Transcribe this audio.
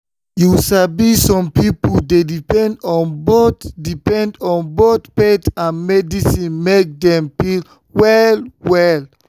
you sabi some people dey depend on both depend on both faith and medicine make dem feel well well.